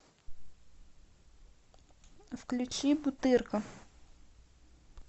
включи бутырка